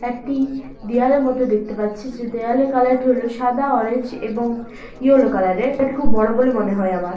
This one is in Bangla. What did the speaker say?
একটি দেয়ালের মতো দেখতে পাচ্ছি যে দেয়ালের কালারটি হলো সাদা অরেঞ্জ এবং ইয়েলো কালারের এটা খুব বড় বলে মনে হয় আমার ।